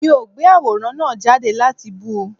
Mi ò gbé àwòrán náà jáde láti bú u